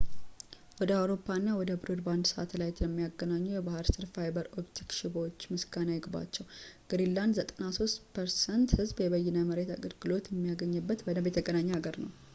ወደ አውሮፓ እና ወደ ብሮድባንድ ሳተላይት ለሚያገናኙ የባህር ስር ፋይበር ኦፕቲክ ሽቦዎች ምስጋና ይግባቸው ግሪንላንድ 93% ህዝብ የበይነ መረብ አገልግሎት የሚያገኝበት በደንብ የተገናኘ ሀገር ነው